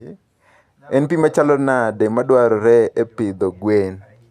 En pi machalo nade madwarore e pidho gwen?